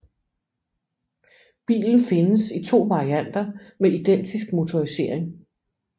Bilen findes i to varianter med identisk motorisering